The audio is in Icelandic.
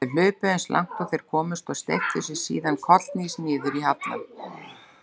Þeir hlupu eins langt og þeir komust og steyptu sér síðan kollhnís niður hallann.